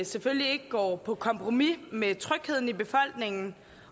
selvfølgelig ikke går på kompromis med trygheden i befolkningen